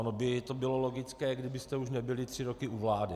Ono by to bylo logické, kdybyste už nebyli tři roky u vlády.